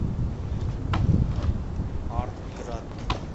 артград